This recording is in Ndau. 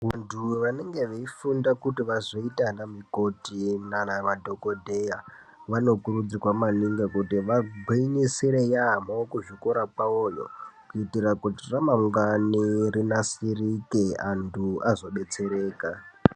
Vantu vanenge veifunda kuti vazoita vana mukoti nana madhogodheya vanokurudzirwa maningi kuti vagwinyisire yaamho kuzvikora kwavoyo. Kuitira kuti ramangwani rinasirike antu azo betsereka.